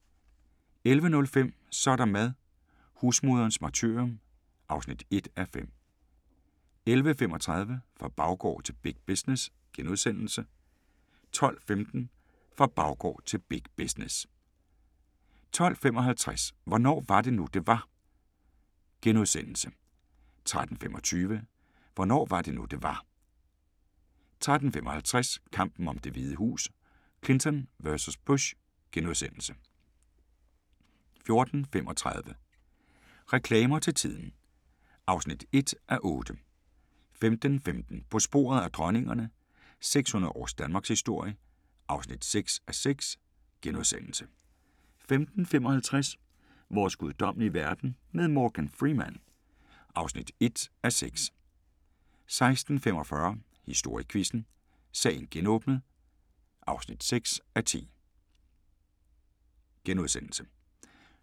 11:05: Så er der mad – husmoderens martyrium (1:5) 11:35: Fra baggård til big business * 12:15: Fra baggård til big business 12:55: Hvornår var det nu, det var? * 13:25: Hvornår var det nu, det var? 13:55: Kampen om Det Hvide Hus: Clinton vs. Bush * 14:35: Reklamer til tiden (1:8) 15:15: På sporet af dronningerne – 600 års danmarkshistorie (6:6)* 15:55: Vores guddommelige verden med Morgan Freeman (1:6) 16:45: Historiequizzen: Sagen genåbnet (6:10)*